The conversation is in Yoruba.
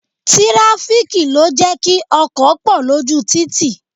Tirafiki ló jẹ́ kí ọkọ̀ pọ lójú títì